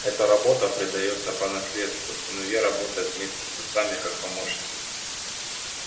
эта работа предаётся по наследству сыновья работают вместе с отцами как помощники